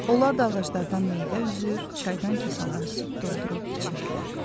Onlar da ağaclardan meyvə üzür, çaydan kasaları süd doldurub içirdilər.